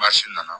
Maa si nana